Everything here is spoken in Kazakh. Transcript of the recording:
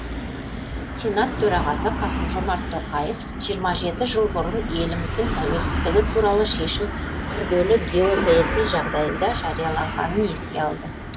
сенат төрағасы қасым жомарт тоқаев жиырма жеті жыл бұрын еліміздің тәуелсіздігі туралы шешім күрделі геосаяси жағдайда жарияланғанын еске алды